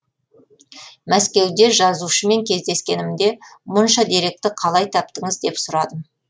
мәскеуде жазушымен кездескенімде мұнша деректі қалай таптыңыз деп сұрадым